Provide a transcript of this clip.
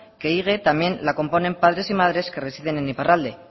que ehige también la componen padres y madres que residen en iparralde